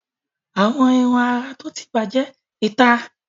Àwọn irun-ara tó ti bàjẹ́, ìta!